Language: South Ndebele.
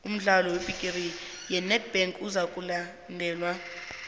umdlalo webhigiri yenedbank uzokudlalelwa ejoburg